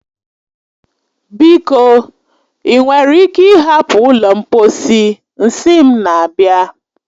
Biko, ị nwere ike ịhapụ ụlọ mposi, nsị m na-abịa.